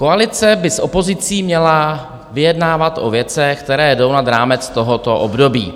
Koalice by s opozicí měla vyjednávat o věcech, které jdou nad rámec tohoto období.